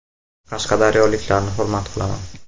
Qashqadaryoliklarni hurmat qilaman.